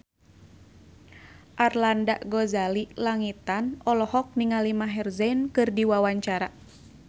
Arlanda Ghazali Langitan olohok ningali Maher Zein keur diwawancara